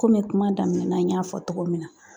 Komi kuma daminɛ na n y'a fɔ cogo min na